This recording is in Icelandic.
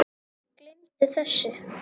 Gleymdu þessu